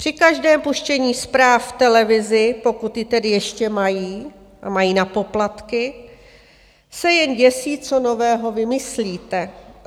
Při každém puštění zpráv v televizi, pokud ji tedy ještě mají a mají na poplatky, se jen děsí, co nového vymyslíte.